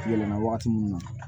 Yɛlɛma waati min na